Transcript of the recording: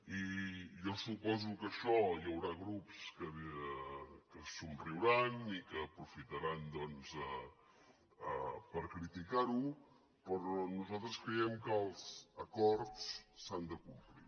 i jo suposo que això hi haurà grups que somriuran i que aprofitaran doncs per criticar ho però nosaltres creiem que els acords s’han de complir